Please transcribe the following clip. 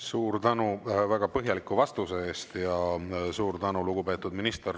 Suur tänu väga põhjaliku vastuse eest ja suur tänu, lugupeetud minister!